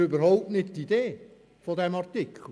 Das ist jedoch überhaupt nicht die Idee dieses Artikels.